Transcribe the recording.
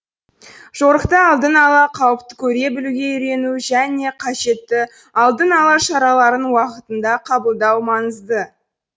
жорықта алдын ала қауіпті көре білуге үйрену және қажетті алдын алу шараларын уақытында қабылдау маңызды